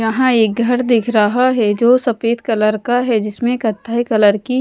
यहां एक घर दिख रहा है जो सफेद कलर का है जिसमें कत्थई कलर की--